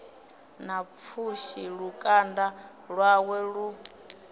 na pfushi lukanda lwawe lu